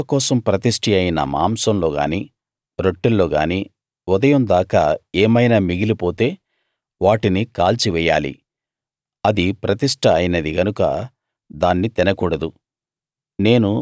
సేవ కోసం ప్రతిష్ఠి అయిన మాంసంలో గానీ రొట్టెల్లో గానీ ఉదయం దాకా ఏమైనా మిగిలిపోతే వాటిని కాల్చివెయ్యాలి అది ప్రతిష్ట అయినది గనక దాన్ని తినకూడదు